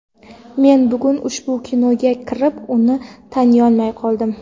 Men bugun ushbu binoga kirib, uni taniyolmay qoldim.